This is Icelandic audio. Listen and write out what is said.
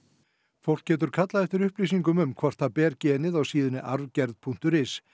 fólk getur kallað eftir upplýsingum um hvort það ber genið á síðunni arfgerð punktur is